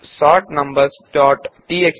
sort numbers dot TXT